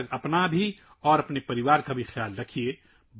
تب تک اپنا اور اپنے خاندان کا خیال رکھیں